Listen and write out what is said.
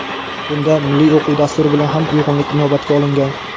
bunda milliy o‘quv dasturi bilan ham uyg‘unlik inobatga olingan.